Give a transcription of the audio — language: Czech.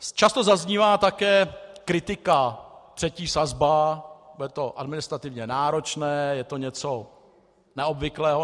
Často zaznívá také kritika - třetí sazba, bude to administrativně náročné, je to něco neobvyklého.